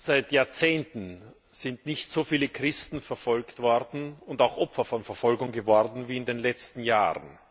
Seit Jahrzehnten sind nicht so viele Christen verfolgt worden und auch Opfer von Verfolgung geworden wie in den letzten Jahren.